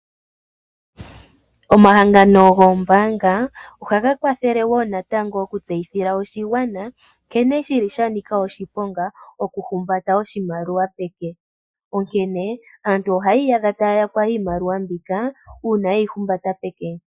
Omahangano goombanga ohaga kwathele wo natango okutseyithila oshigwana, nkene shili sha nika oshiponga okuhumbata oshimaliwa peke. Onkene aantu ohaya iyadha taya yakwa iimaliwa mbika, uuna ye yi humbata peke.